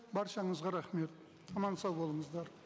баршаңызға рахмет аман сау болыңыздар